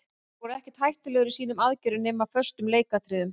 Þeir voru ekkert hættulegir í sínum aðgerðum nema í föstum leikatriði.